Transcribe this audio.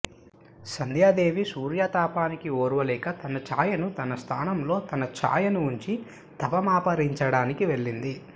సంధ్యాదేవి సూర్యతాపానికి ఓర్వలేక తన ఛాయను తన స్థానంలో తన ఛాయను ఉంచి తపమాచరించడానికి వెళ్ళింది